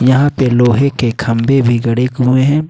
यहां पे लोहे के खंभे भी गड़े हुए हैं।